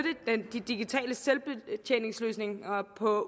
de digitale selvbetjeningsløsninger på